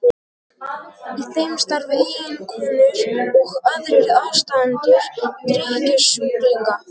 Í þeim starfa eiginkonur og aðrir aðstandendur drykkjusjúklinga.